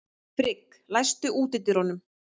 Frigg, læstu útidyrunum.